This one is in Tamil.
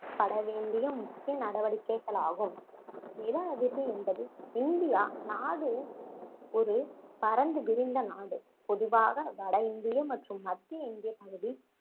பட வேண்டிய முக்கிய நடவடிக்கைகளாகும் நில அதிர்வு என்பது இந்தியா நாடு ஒரு பரந்து விரிந்த நாடு பொதுவாக வட இந்திய மற்றும் மத்திய இந்தியப்பகுதி